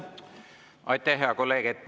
Aitäh, hea kolleeg!